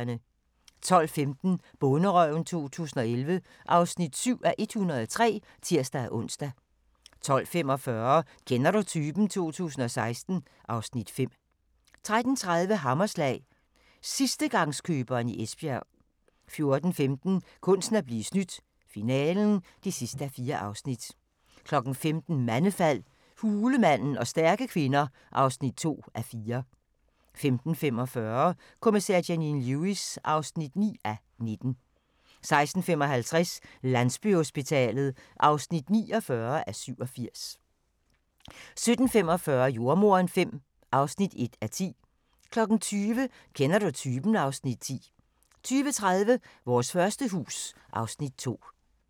12:15: Bonderøven 2011 (7:103)(tir-ons) 12:45: Kender du typen? 2016 (Afs. 5) 13:30: Hammerslag – sidstegangskøberen i Esbjerg 14:15: Kunsten at blive snydt - finalen (4:4) 15:00: Mandefald – hulemanden og stærke kvinder (2:4) 15:45: Kommissær Janine Lewis (9:19) 16:55: Landsbyhospitalet (49:87) 17:45: Jordemoderen V (1:10) 20:00: Kender du typen? (Afs. 10) 20:30: Vores første hus (Afs. 2)